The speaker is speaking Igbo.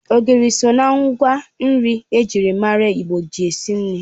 Ogiri so ná ngwa nri ejiri mara Igbo ji esi nri